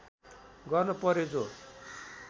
गर्न पर्‍यो जो